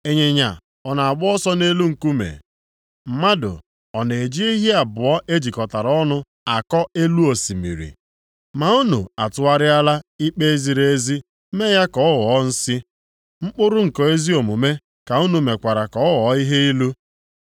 Ịnyịnya ọ na-agba ọsọ nʼelu nkume? Mmadụ ọ na-eji ehi abụọ e jikọtara ọnụ akọ elu osimiri? Ma unu atụgharịala ikpe ziri ezi mee ya ka ọ ghọọ nsi, mkpụrụ nke ezi omume ka unu mekwara ka ọ ghọọ ihe ilu.